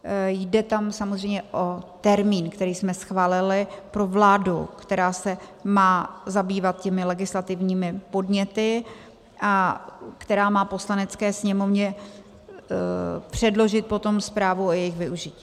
Jde tam samozřejmě o termín, který jsme schválili pro vládu, která se má zabývat těmi legislativními podněty a která má Poslanecké sněmovně předložit potom zprávu o jejich využití.